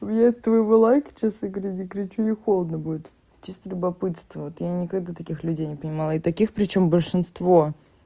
мне от твоего лайка честно говоря не горячо ни холодно будет чисто любопытство вот я никогда таких людей не понимала и таких причём большинство